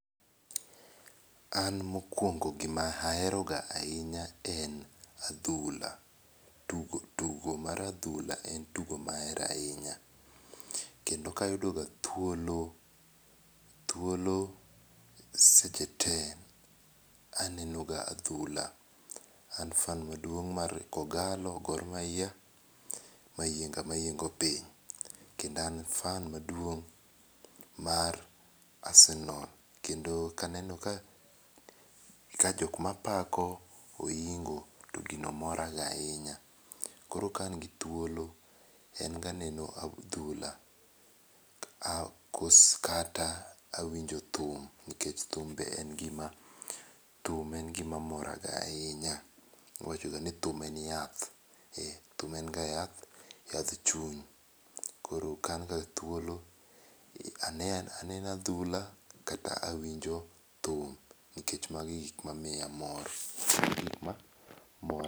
An mokuongo gima ahero ga ahinya en adhula, tugo mar adhla en tiugo ma ahero ahinya kendo ka ayudo ga thuolo, thuolo seche te to aneno ga adhulo. An fan maduong mar kogalo Gor Mahia, mayienga mayiengo piny kendo an fan maduong mar Arsenal kendo ka aneno ka jok ma apako oyingo, to gino mora ga ahinya. Koro ka an gi thuolo en ga neno adhula kata awinjo thum nikech thum en ga gi ma ,thum en gi ma mora ga ahinya. Iwacho ga ni thum en yath, ee thum en ga yath, yadh chuny koro ka an ga thuolo aneno aneno adhula kata awinjo thum nikech ma gi gik ma miya mor.